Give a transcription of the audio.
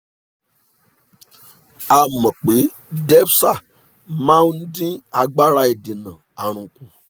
a mọ̀ pé defza máa ń dín agbára ìdènà àrùn kù